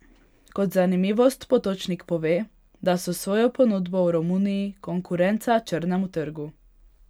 Kot zanimivost Potočnik pove, da so s svojo ponudbo v Romuniji konkurenca črnemu trgu.